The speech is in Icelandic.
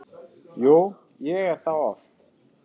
Jú, ég er það oft.